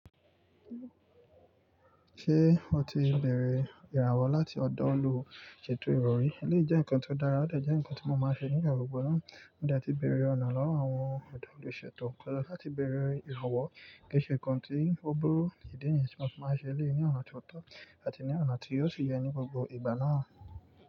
Ṣé o ti bẹ̀rẹ̀ ìràwọ̀ láti ọ̀dọ́ olùsètò ero ri? Eleyi je nǹkan tó dára, ó de jẹ́ ǹkan tí mo máa ṣe ní igbagbo náà. Mo de ti bẹ̀erẹ̀ ọ̀nà lọ́wọ́ àwọn ọ̀dọ́ olùsètò kan lọ láti bẹ̀erẹ̀ ìràwọ̀ keẹ́ṣẹ́ nkan tí ó burú, ìdí nìyen ti mo fi máa ṣe eleyii ní ọ̀nà tó tọ́ àti ní ọ̀nà tí yóò fi yẹ ní gbogbo ìgbà náà.